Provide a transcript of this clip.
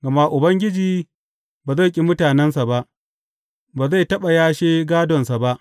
Gama Ubangiji ba zai ƙi mutanensa ba; ba zai taɓa yashe gādonsa ba.